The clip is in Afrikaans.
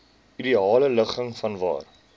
ideale ligging vanwaar